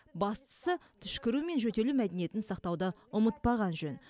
бастысы түшкіру мен жөтелу мәдениетін сақтауды ұмытпаған жөн